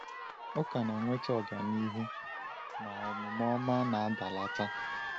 “Ụka na-enweta ọganihu, ma omume ọma na-adalata.”